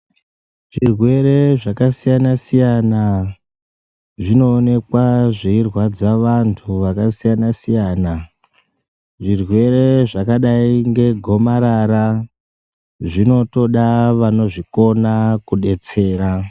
Zvirwere zvakasiyana siyana zviknoonekwa zveirwadza vantu vaka sitana siyana. Zvirwere zvakadai nge gomarara zvinotoda vanozvikona kubetsera.